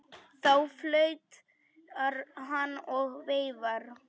Þá flautar hann og veifar.